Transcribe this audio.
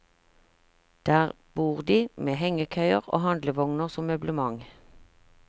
Der bor de, med hengekøyer og handlevogner som møblement.